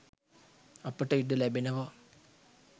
අපට ඉඩ ලැබෙනවා.